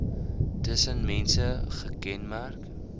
tussen mense gekenmerk